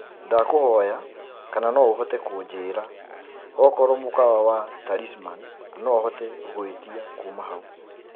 ndakũhoya kana no uhote kunjĩĩra okorwo mũkawa wa talisman no hote gũĩtĩa kũma hau